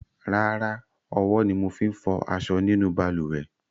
Rárá, owó ni mo fi n fo aso nínú balùwè